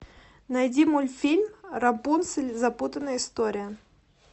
найди мультфильм рапунцель запутанная история